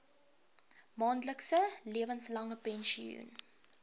maandelikse lewenslange pensioen